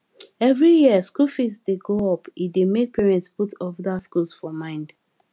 every year school fees dey go up e dey make parents put other schools for mind